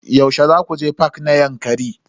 Yaushe zaku je fak na Yankari?